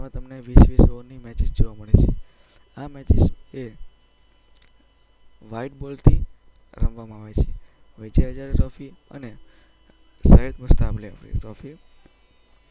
એમાં તમને વીસ-વીસ ઓવરની મેચિસ જોવા મળે છે. આ મેચિસ એ વ્હાઈટ બોલથી રમવામાં આવે છે. વિજય હઝારે ટ્રોફી અને સૈયદ મુસ્તાક અલી ટ્રોફી